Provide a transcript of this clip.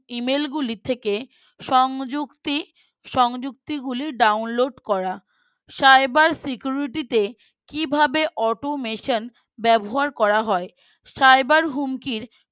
Email গুলির থেকে সংযুক্তি সংযুক্তিগুলি Download করা Cyber Security তে কিভাবে Automation ব্যবহার করা হয় Cyber হুমকির